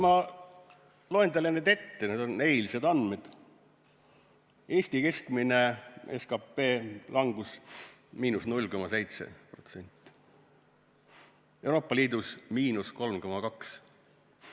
Ma loen teile nüüd ette, need on eilsed andmed: Eesti keskmine SKP langus –0,7%, Euroopa Liidus –3,2%.